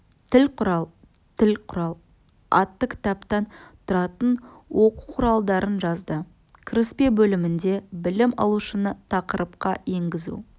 тіл құрал тіл құрал атты кітаптан тұратын оқу құралдарын жазды кіріспе бөлімінде білім алушыны тақырыпқа енгізу